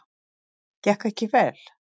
Gekk ekki vel.